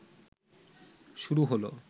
শুরু হলো